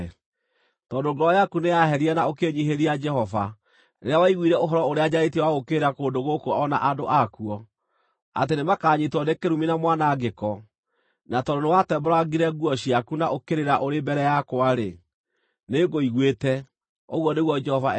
Tondũ ngoro yaku nĩyaherire na ũkĩĩnyiihĩria Jehova rĩrĩa waiguire ũhoro ũrĩa njarĩtie wa gũũkĩrĩra kũndũ gũkũ o na andũ akuo, atĩ nĩmakanyiitwo nĩ kĩrumi na mwanangĩko, na tondũ nĩwatembũrangire nguo ciaku na ũkĩrĩra ũrĩ mbere yakwa-rĩ, nĩngũiguĩte, ũguo nĩguo Jehova ekuuga.